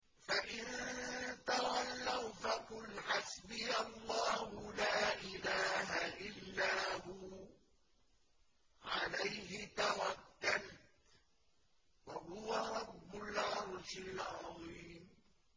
فَإِن تَوَلَّوْا فَقُلْ حَسْبِيَ اللَّهُ لَا إِلَٰهَ إِلَّا هُوَ ۖ عَلَيْهِ تَوَكَّلْتُ ۖ وَهُوَ رَبُّ الْعَرْشِ الْعَظِيمِ